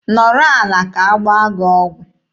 Nọrọ ala ka agbaa gị ọgwụ!